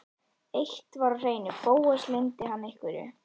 Eitt var á hreinu: Bóas leyndi hann einhverju.